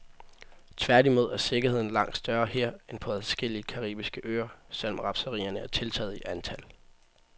Tværtimod er sikkerheden langt større her end på adskillige caraibiske øer, selv om rapserierne er tiltaget i antal.